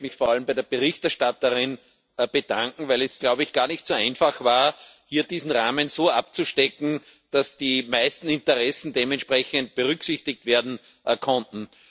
Ich möchte mich vor allem bei der Berichterstatterin bedanken, weil es, glaube ich, gar nicht so einfach war, hier diesen Rahmen so abzustecken, dass die meisten Interessen dementsprechend berücksichtigt werden konnten.